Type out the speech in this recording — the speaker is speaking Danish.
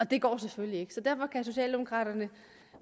det går selvfølgelig ikke så derfor kan socialdemokraterne